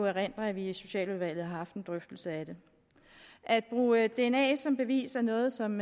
erindre at vi i socialudvalget har haft en drøftelse af det at bruge dna som bevis er noget som